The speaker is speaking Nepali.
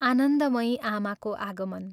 आनन्दमयी आमाको आगमन।